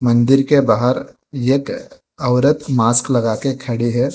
मंदिर के बाहर एक औरत मास्क लगा के खड़ी है।